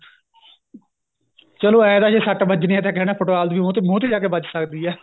ਚਲੋ ਏ ਤਾਂ ਜੇ ਸੱਟ ਵੱਜਣੀ ਏ ਤਾਂ ਕਹਿਣਾ football ਦੀ ਮੂੰਹ ਤੇ ਮੂੰਹ ਤੇ ਜਾ ਕੇ ਵੱਜ ਸਕਦੀ ਏ